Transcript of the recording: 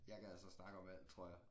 Jeg kan altså snakke om alt tror jeg